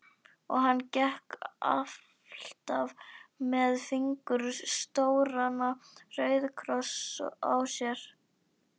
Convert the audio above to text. Og hann gekk alltaf með fingur stóran róðukross á sér.